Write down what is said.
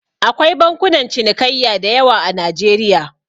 Akwai bankunan cinikayya da yawa a Najeriya.